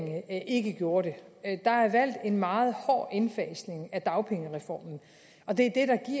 ikke gjorde det der er valgt en meget hård indfasning af dagpengereformen og det